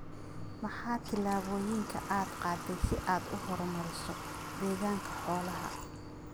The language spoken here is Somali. Maxaa tillaabooyinka aad qaaday si aad u horumariso deegaanka xoolaha?